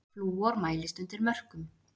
Flúor mælist undir mörkum